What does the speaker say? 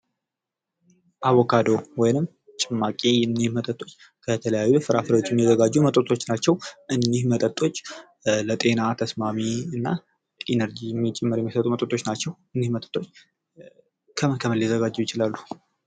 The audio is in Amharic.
አቮካዶ ወይንም ጭማቂ እኚህ መጥጦች ከተለያዩ ፍራፍሬዎች የሚዘጋጁ መጠጦች ናቸው። እኚህ መጥጦች ለጤና ተስማሚ እና ኢነርጂ ጭምር የሚሰጡ መጠጦች ናቸው። እኚህ መጠጦች ከምን ከምን ሊዘጋጁ ይችላሉ?